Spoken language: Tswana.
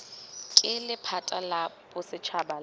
ke lephata la bosetšhaba la